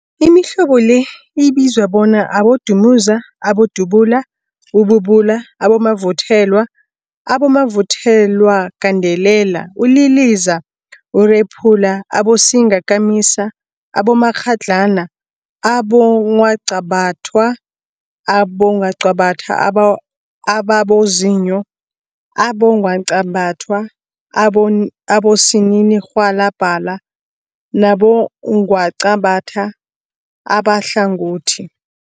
Imihlobo le ibizwa bona abodumuza, abodubula, ububula, abomavuthelwa, abomavuthelwagandelela, uliliza, urephula, abosingakamisa, abomakghadlana, abongwaqabathwa, abongwaqabathwa ababozinyo, abongwaqabathwa abosininirhwalabha nabongwaqabatha abahlangothi.